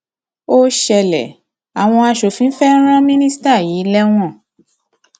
ó ṣẹlẹ àwọn aṣòfin fẹẹ ran mínísítà yìí lẹwọn